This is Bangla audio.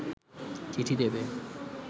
চিঠি দেবে